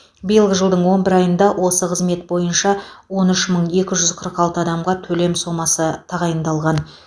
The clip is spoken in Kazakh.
биылғы жылдың он бір айында осы қызмет бойынша он үш мың екі жүз қырық алты адамға төлем сомасы тағайындалған